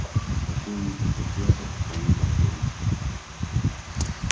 такой умнице как я это вполне по силам